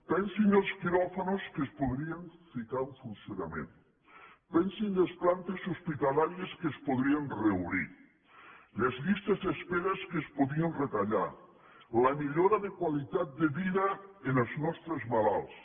pensin els quiròfans que es podrien ficar en funcionament pensin les plantes hospitalàries que es podrien reobrir les llistes d’espera que es podrien retallar la millora de qualitat de vida dels nostres malalts